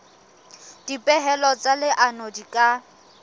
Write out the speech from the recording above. dipehelo tsa leano di ka